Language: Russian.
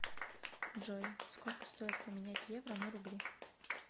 джой сколько стоит поменять евро на рубли